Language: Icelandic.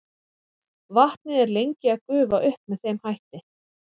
vatnið er lengi að gufa upp með þeim hætti